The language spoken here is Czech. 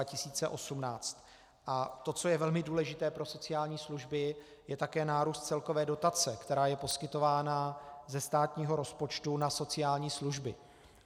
A to, co je velmi důležité pro sociální služby, je také nárůst celkové dotace, která je poskytována ze státního rozpočtu na sociální služby.